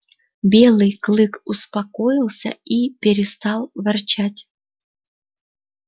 белый клык успокоился и перестал ворчать